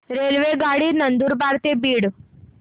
रेल्वेगाडी नंदुरबार ते बीड